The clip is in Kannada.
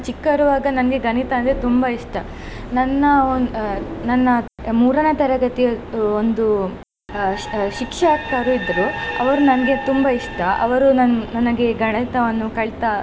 ಚಿಕ್ಕಿರುವಾಗ ನನಗೆ ಗಣಿತ ಅಂದ್ರೆ ತುಂಬಾ ಇಷ್ಟ ನನ್ನ ಅಹ್ ನನ್ನ ಮೂರನೇ ತರಗತಿ ಒಂದು ಅಹ್ ಅಹ್ ಶಿಕ್ಷಕರು ಇದ್ರು ಅವರು ನನಗೆ ತುಂಬಾ ಇಷ್ಟ ಅವರು ನನ್~ ನನಗೆ ಗಣಿತವನ್ನು ಕಳಿತಾ.